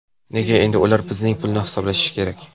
Nega endi ular bizning pulni hisoblashi kerak?